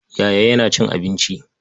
Yaya yana cin abinci.